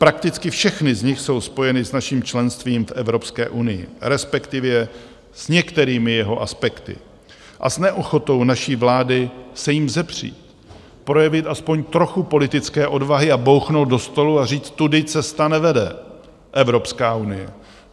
Prakticky všechny z nich jsou spojeny s naším členstvím v Evropské unii, respektive s některými jeho aspekty a s neochotou naší vlády se jí vzepřít, projevit aspoň trochu politické odvahy a bouchnout do stolu a říct - tudy cesta nevede, Evropská unie.